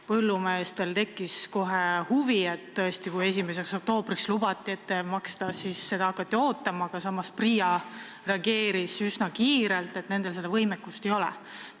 Põllumeestel tekkis kohe huvi, kui 1. oktoobriks lubati maksta – seda hakati ootama, aga PRIA reageeris üsna kiirelt avaldusega, et nendel seda võimekust ei ole.